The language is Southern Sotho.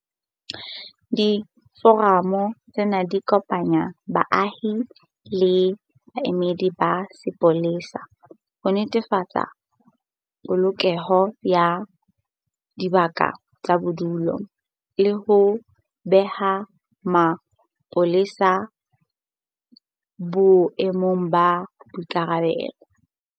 Diforamo tsena di kopanya baahi le baemedi ba sepolesa ho ntlafatsa polokeho ya dibaka tsa bodulo le ho beha mapolesa boemong ba boikarabelo.